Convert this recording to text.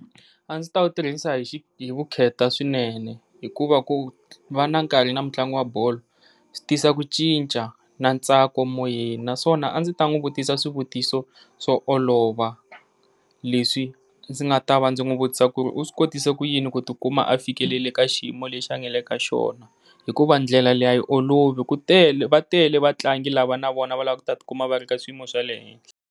A ndzi ta wu tirhisa hi vukheta swinene hikuva ku va na nkarhi na mutlangi wa bolo swi tisa ku cinca na ntsako moyeni, naswona a ndzi ta n'wi vutisa swivutiso swo olova leswi ndzi nga ta va ndzi n'wi vutisa ku ri u swi kotise ku yini ku ti kuma a fikelele ka xiyimo lexi a nga le ka xona. Hikuva ndlela leyi a yi olovi ku tele va tele vatlangi lava na vona va lava ku ta ti kuma va ri ka xiyimo xa le henhla.